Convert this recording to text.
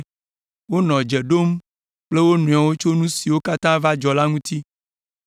Wonɔ dze ɖom kple wo nɔewo tso nu siwo katã va dzɔ la ŋuti.